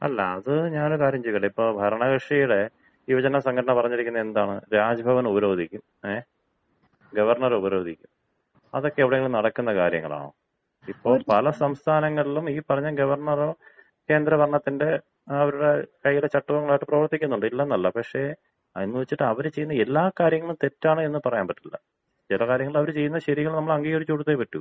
അല്ല. അത് ഞാനൊരു കാര്യം ചോദിക്കട്ടെ? ഇപ്പോ ഭരണകക്ഷിയുടെ യുവജന സംഘടന പറഞ്ഞിരിക്കുന്നത് എന്താണ്? രാജ് ഭവൻ ഉപരോധിക്കും. ഗവർണറെ ഉപരോധിക്കും. അതൊക്കെ എവിടെയെങ്കിലും നടക്കുന്ന കാര്യങ്ങളാണോ? ഇപ്പോ പല സംസ്ഥാനങ്ങളിലും ഈ പറഞ്ഞ ഗവർണറോ കേന്ദ്രഭരണത്തിന്‍റെ അവരുടെ കയ്യിലെ ചട്ടുകങ്ങളായിട്ട് പ്രവർത്തിക്കുന്നുണ്ട്. ഇല്ലെന്നല്ല പക്ഷേ എന്നു വെച്ചിട്ട് അവർ ചെയ്യുന്ന എല്ലാ കാര്യങ്ങളും തെറ്റാണെന്ന് പറയാൻ പറ്റില്ല. ചില കാര്യങ്ങൾ അവർ ചെയ്യുന്നത് ശരികൾ നമ്മൾ അംഗീകരിച്ച് കൊടുത്തേ പറ്റൂ.